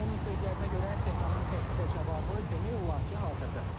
Onun sözlərinə görə, Tehranın təklifə cavabı demək olar ki, hazırdır.